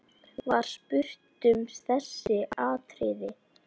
Var spurt um þessi atriði.